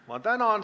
Tänan!